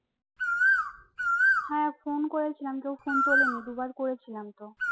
হ্যাঁ ফোন করেছিলাম তো ফোন তোলেনি দুবার করেছিলাম তো